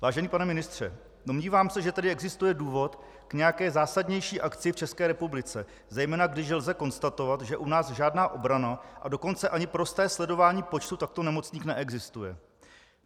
Vážený pane ministře, domnívám se, že tady existuje důvod k nějaké zásadnější akci v České republice, zejména když lze konstatovat, že u nás žádná obrana, a dokonce ani prosté sledování počtu takto nemocných neexistuje.